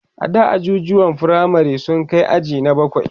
ada ajujuwan firamare sun Kai aji na bakwai